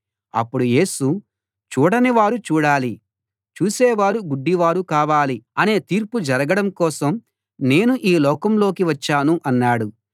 అప్పుడు యేసు చూడనివారు చూడాలి చూసేవారు గుడ్డివారు కావాలి అనే తీర్పు జరగడం కోసం నేను ఈ లోకంలోకి వచ్చాను అన్నాడు